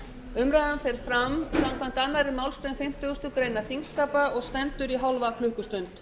umræðan fer fram samkvæmt annarri málsgrein fimmtugustu og aðra grein þingskapa og stendur í hálfa klukkustund